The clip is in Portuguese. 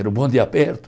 Era o bonde aperto.